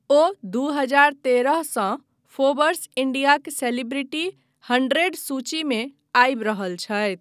ओ दू हजर तेरहसँ फोर्ब्स इंडियाक सेलिब्रिटी हंड्रेड सूचीमे आबि रहल छथि।